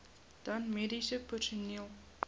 dan mediese personeel